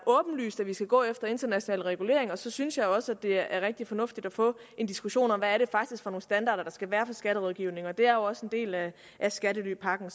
åbenlyst at vi skal gå efter international regulering og så synes jeg også det er rigtig fornuftigt at få en diskussion om hvad det faktisk nogle standarder der skal være for skatterådgivningen det er jo også en del af skattelypakken